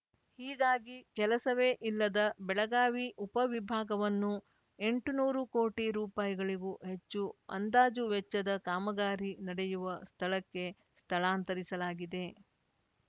ಹೀಗಾಗಿ ಕೆಲಸವೇ ಇಲ್ಲದ ಬೆಳಗಾವಿ ಉಪ ವಿಭಾಗವನ್ನು ಎಂಟನೂರು ಕೋಟಿ ರುಪಾಯಿ ಗಳಿಗೂ ಹೆಚ್ಚು ಅಂದಾಜು ವೆಚ್ಚದ ಕಾಮಗಾರಿ ನಡೆಯುವ ಸ್ಥಳಕ್ಕೆ ಸ್ಥಳಾಂತರಿಸಲಾಗಿದೆ